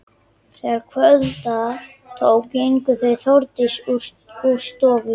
Þegar kvölda tók gengu þau Þórdís úr stofu.